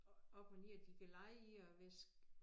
Op og ned de kan lege i og hvæsse